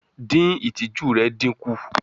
Din itiju rẹ dinku